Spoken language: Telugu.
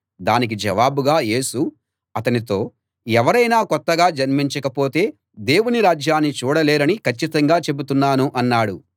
దానికి జవాబుగా యేసు అతనితో ఎవరైనా కొత్తగా జన్మించకపోతే దేవుని రాజ్యాన్ని చూడలేరని కచ్చితంగా చెబుతున్నాను అన్నాడు